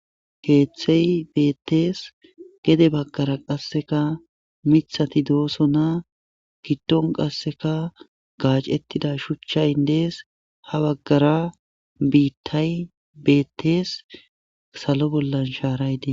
Keehthey beettees gede baggara qasseka mithati dooso naa giddon qasseka gaacettida shuchchayndees ha baggara biittay bettees salo bollan shaaray dees.